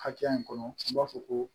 Hakɛya in kɔnɔ an b'a fɔ ko